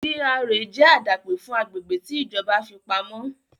GRA jẹ́ àdápè fún agbègbè tí ìjọba fi pamọ́